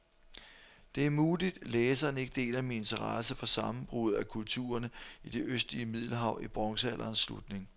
Det er muligt, læseren ikke deler min interesse for sammenbruddet af kulturerne i det østlige middelhav i bronzealderens slutning.